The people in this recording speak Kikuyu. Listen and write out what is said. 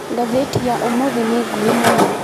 Ngathĩti ya ũmũthĩ nĩ nguhĩ mũno.